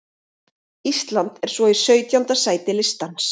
Ísland er svo í sautjánda sæti listans.